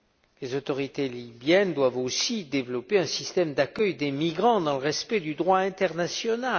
Les autorités libyennes doivent aussi développer un système d'accueil des migrants dans le respect du droit international.